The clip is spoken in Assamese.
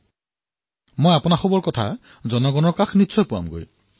মই নিশ্চয়কৈ আপোনালোকৰ কথা জনসাধাৰণৰ মাজত প্ৰচাৰ কৰিম